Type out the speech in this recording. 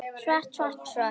Svart, svart, svart.